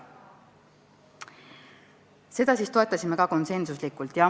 Seda me toetasime ka konsensuslikult.